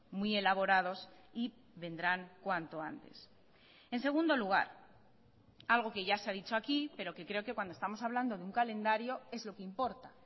muy elaborados y vendrán cuanto antes en segundo lugar algo que ya se ha dicho aquí pero que creo que cuando estamos hablando de un calendario es lo que importa